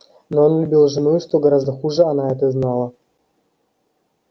но он любил жену и что гораздо хуже она это знала